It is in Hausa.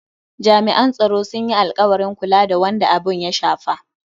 Jami'an tsaro sun yi alkawarin kula da wanda abun ya shafa.